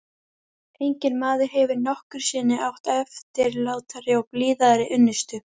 Enginn maður hefur nokkru sinni átt eftirlátari og blíðari unnustu.